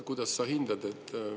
Kuidas sa seda hindad?